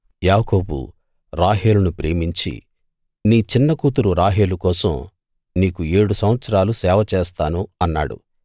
యాకోబు రాహేలును ప్రేమించి నీ చిన్న కూతురు రాహేలు కోసం నీకు ఏడు సంవత్సరాలు సేవ చేస్తాను అన్నాడు